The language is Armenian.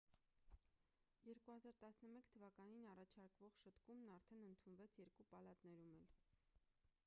2011 թվականին առաջարկվող շտկումն արդեն ընդունվեց երկու պալատներում էլ